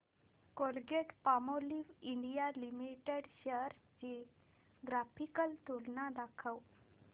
Colgate Palmolive India limited shares ची graphical तुलना दाखव